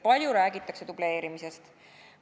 Palju räägitakse dubleerimisest.